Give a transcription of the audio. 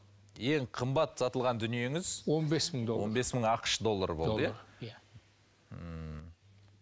ең қымбат сатылған дүниеңіз он бес мың доллар он бес мың ақш доллары болды иә ммм